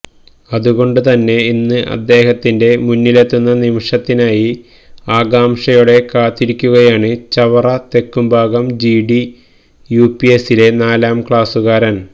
അതുകൊണ്ടുതന്ന ഇന്ന് അദ്ദേഹത്തിന്റെ മുന്നിലെത്തുന്ന നിമിഷത്തിനായി ആകാംക്ഷയോടെ കാത്തിരിക്കുകയാണ് ചവറ തെക്കുംഭാഗം ജിഡി യുപിഎസിലെ നാലാം ക്ലാസുകാരന്